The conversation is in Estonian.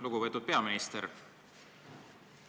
Lugupeetud peaminister!